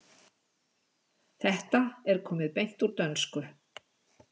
Þetta er komið beint úr dönsku.